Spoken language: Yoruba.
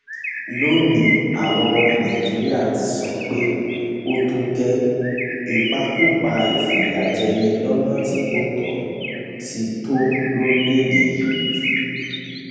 lónìín àwa ọmọ nàìjíríà ti sọ pé ó tó gẹẹ ìpakúpa ìfìyàjẹni lọnà tí kò tó ti tọ lórílẹèdè yìí